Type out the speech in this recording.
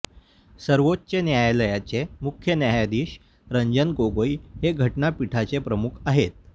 सर्वोच्च न्यायालयाचे मुख्य न्यायाधीश रंजन गोगोई हे घटनापीठाचे प्रमुख आहेत